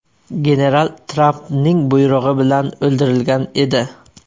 General Trampning buyrug‘i bilan o‘ldirilgan edi.